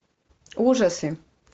ужасы